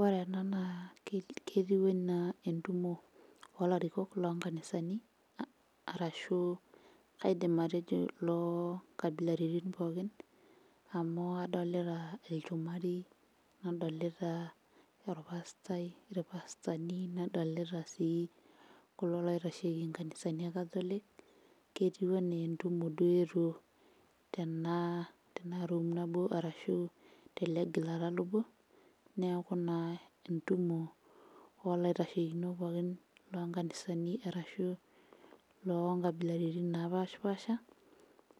Ore ena naa ketiu anaa entumo olarikok lonkanisani arashu kaidim atejo loonkabilaritin pookin amu adolita ilchumari nadolita orpastai irpasatani nadolita sii kulo loitasheki inkanisani e catholic ketiu enaa entumo duo eetuo tena, tena room nabo arashu tele gilata lobo neeku naa entumo olaitashekinok pookin lonkanisani arashu lonkabilaritin napashipasha